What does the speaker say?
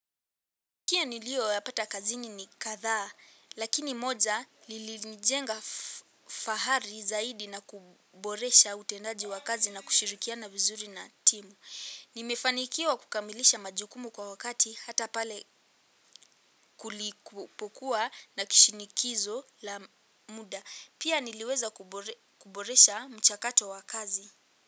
Kila niliyoyapata kazini ni kadhaa, lakini moja lilinijenga fahari zaidi na kuboresha utendaji wa kazi na kushirikiana vizuri na timu. Nimefanikiwa kukamilisha majukumu kwa wakati hata pale kulipokuwa na kishinikizo la muda. Pia niliweza kuboresha mchakato wa kazi.